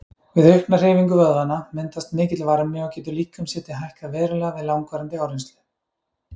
Við aukna hreyfingu vöðvanna myndast mikill varmi og getur líkamshiti hækkað verulega við langvarandi áreynslu.